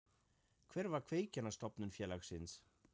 Hver var kveikjan að stofnun félagsins?